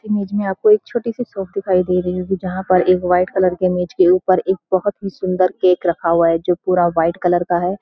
इस इमेज में आपको एक छोटी-सी शाप दिखाई दे रही होगी जहाँ पर एक व्‍हाईट कलर की मेज के ऊपर एक बहोत ही सुन्‍दर केक रखा हुआ है जो पूरा व्‍हाईट कलर का है। --